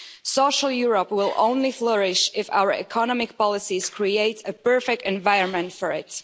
Social Europe will flourish only if our economic policies create a perfect environment for it.